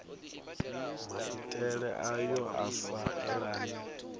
maitele ayo a sa elani